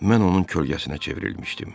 Mən onun kölgəsinə çevrilmişdim.